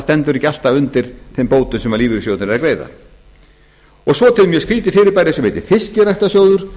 stendur ekki alltaf undir þeim bótum sem lífeyrissjóðirnir eru að greiða svo er til mjög skrýtið fyrirbæri sem heitir fiskræktarsjóður